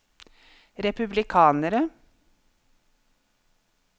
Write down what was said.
republikanere